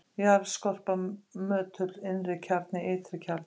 jarðskorpa möttull innri-kjarni ytri-kjarni